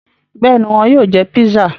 Bẹ́ẹ̀ni, wọn yóò jẹ pizza.